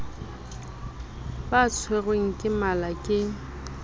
ba tshwerwe ke mala ke